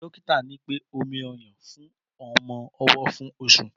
Dọkìtá ni pẹ; òmí ọyún fún ọmọ ọwó fún òsú